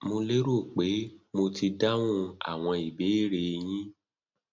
mo lérò pé mo ti dáhùn àwọn ìbéèrè e yín